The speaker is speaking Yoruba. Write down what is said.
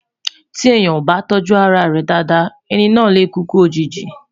tí èèyàn ọ bá tójú ará rè Dàda, ẹni nà lẹ kúkú òjìji